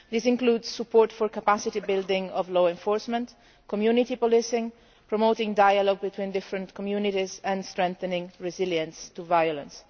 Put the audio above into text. This includes support for capacity building of law enforcement, community policing, promoting dialogue between different communities and strengthening resilience to violence.